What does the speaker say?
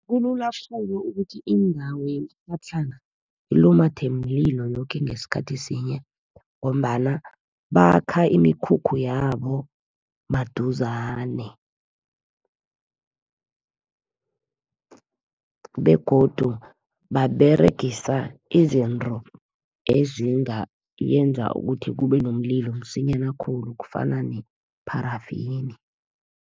Kulula khulu ukuthi indawo yemitlhatlhana, ilumathe mlilo yoke ngesikhathi sinye ngombana bakha imikhukhu yabo maduzane. Begodu baberegisa izinto ezingenza ukuthi kube nomlilo msinyana khulu, ezifana nepharafeni.